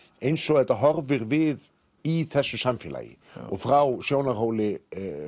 eins og þetta horfir við í þessu samfélagi og frá sjónarhóli